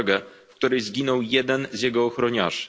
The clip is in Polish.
Mukwege, w której zginął jeden z jego ochroniarzy.